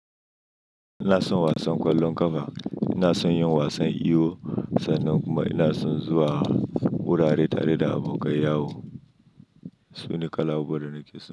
Ina son wasan ƙwallon ƙafa, ina son yin wasan iyo sannan kuma ina son zuwa wurare tare da abokai. Yahoo. Sune kala'u da nake so.